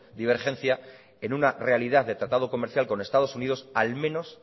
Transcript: divergencia en una realidad de tratado comercial con estados unidos al menos